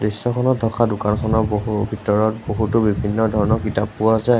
দৃশ্যখনত থকা দোকানখনৰ বহু ভিতৰত বহুতো বিভিন্ন ধৰণৰ কিতাপ পোৱা যায়।